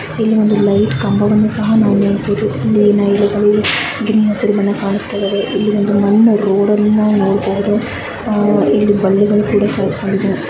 ಇಲ್ಲಿ ನಾವು ಒಂದು ಲೈಟ್ ಕಂಬ ವನ್ನು ಸಹ ನಾವು ನೋಡ್ತೇವೆ ಇಲ್ಲಿ.